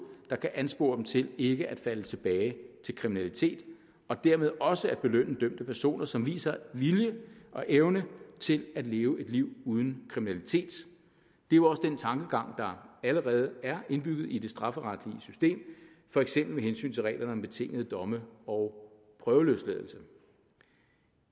der kan anspore dem til ikke at falde tilbage til kriminalitet og dermed også at belønne dømte personer som viser vilje og evne til at leve et liv uden kriminalitet det er jo også den tankegang der allerede er indbygget i det strafferetlige system for eksempel med hensyn til reglerne om betingede domme og prøveløsladelse